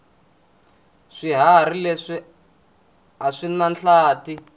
swihharhi leswi aswinahlathi